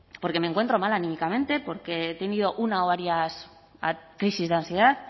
porque me encuentro mal anímicamente porque he tenido una o varias crisis de ansiedad